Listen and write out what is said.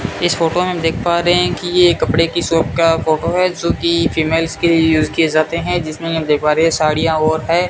इस फोटो में देख पा रहे हैं कि ये कपड़े की शॉप का फोटो है जो कि फीमेल्स के लिए यूज किए जाते हैं जिसमें हम देख पा रहे हैं साड़ियां और है।